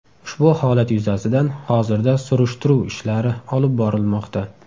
Ushbu holat yuzasidan hozirda surishtiruv ishlari olib borilmoqda.